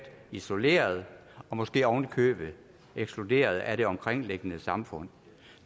isoleret og måske oven i købet ekskluderet af det omkringliggende samfund